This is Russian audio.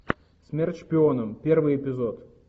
смерть шпионам первый эпизод